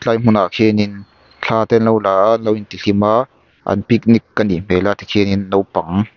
lai hmunah khian in thla te an lo la a an lo intihlim a an picnic a nih hmel a tikhianin naupang--